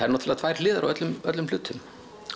náttúrulega tvær hliðar á öllum öllum hlutum